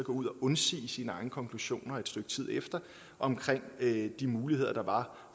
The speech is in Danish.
ud og undsige sine egne konklusioner omkring de muligheder der var